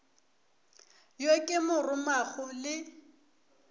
yo ke mo romago le